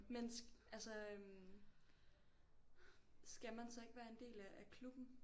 Men altså øh skal man så ikke være en del af af klubben?